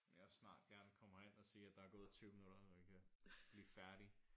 Må de også snart gerne komme herind og sige at der er gået 20 minutter så vi kan blive færdig